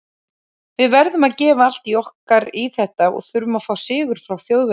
Við verðum að gefa allt okkar í þetta og þurfum að fá sigur frá Þjóðverjum.